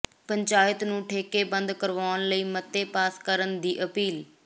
ਪੰਚਾਇਤਾਂ ਨੂੰ ਠੇਕੇ ਬੰਦ ਕਰਵਾਉਣ ਲਈ ਮਤੇ ਪਾਸ ਕਰਨ ਦੀ ਅਪੀਲ